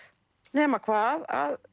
nema hvað